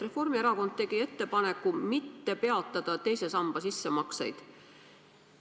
Reformierakond tegi ettepaneku mitte peatada teise samba sissemakseid.